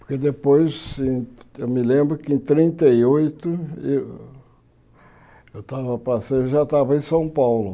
Porque depois eu me lembro que em trinta e oito eu eu estava passando já estava em São Paulo.